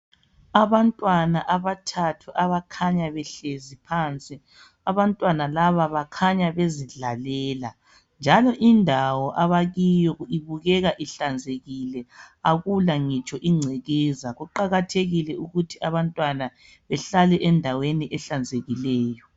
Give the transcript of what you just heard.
Abantwana abathathu abakhanya behlezi phansi, abantwana laba bakhanya bezidlalela njalo indawo abakiyo ibukeka ihlanzekile. Akula ngitsho ingcekeza, kuqakathekile ukuthi abantwana behlale endaweni ehlanzekileyo.